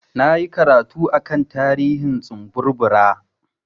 Na yi karatu a kan tarihin tsumburbura.